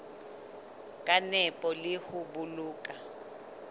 ka nepo le ho boloka